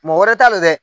Mɔgɔ wɛrɛ t'a la dɛ